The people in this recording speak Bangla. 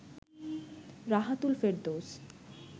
রাহাতুল ফেরদৌস